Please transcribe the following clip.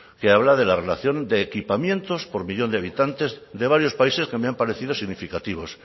que habla de la relación de equipamientos por millón de habitantes de varios países que me han parecido significativos